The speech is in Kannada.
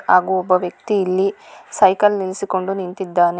ಹಾಗು ಒಬ್ಬ ವ್ಯಕ್ತಿ ಇಲ್ಲಿ ಸೈಕಲ್ ನಿಲ್ಸಿಕೊಂಡು ನಿಂತಿದ್ದಾನೆ.